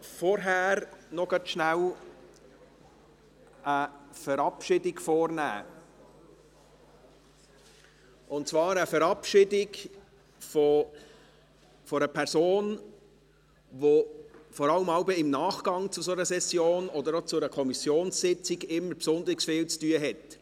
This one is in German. Vorher möchte ich eine Verabschiedung vornehmen, und zwar eine Verabschiedung einer Person, die vor allem im Nachgang zu einer Session, oder auch zu einer Kommissionssitzung, immer besonders viel zu tun hat.